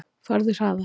Farðu hraðar.